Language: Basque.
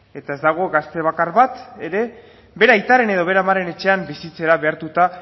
eta ez dago gazte bakar bat ere bere aitaren edo bere amaren etxean bizitzera behartuta